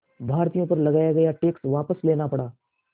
भारतीयों पर लगाया गया टैक्स वापस लेना पड़ा